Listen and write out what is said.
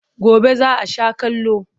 Gobe za a sha kallo.